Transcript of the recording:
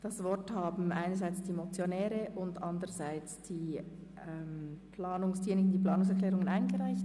Das Wort haben nun einerseits die Motionäre und andererseits die Autoren der Planungserklärungen.